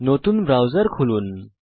নতুন ব্রাউজার খুলুন